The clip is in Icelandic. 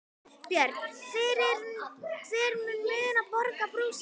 Björn: Hver mun borga brúsann?